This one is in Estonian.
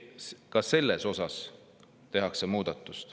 Ka selles osas tehakse muudatus.